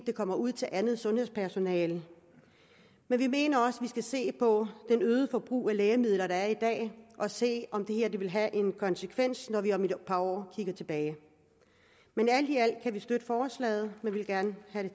det kommer ud til andet sundhedspersonale men vi mener også vi skal se på det øgede forbrug af lægemidler der er i dag og se om det her vil have en konsekvens når vi om et par år kigger tilbage alt i alt kan vi støtte forslaget men vi vil gerne have